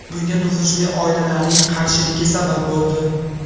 Bunga nufuzli oilalarning qarshiligi sabab bo‘ldi.